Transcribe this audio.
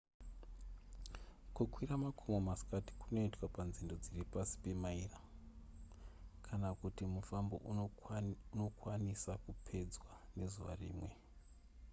kukwira makomo masikati kunoitwa panzendo dziri pasi pemaira kana kuti mufambo unokwanisa kupedzwa nezuva rimwe